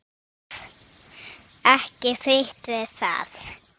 Ekki frítt við það!